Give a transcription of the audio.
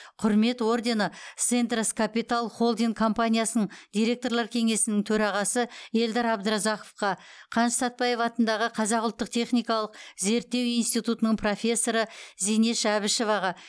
құрмет ордені сентрас капитал холдинг компаниясының директорлар кеңесінің төрағасы ельдар абдразаковқа қаныш сәтпаев атындағы қазақ ұлттық техникалық зерттеу институтының профессоры зинеш әбішеваға